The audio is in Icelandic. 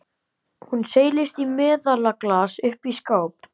Hún seilist í meðalaglas uppi í skáp.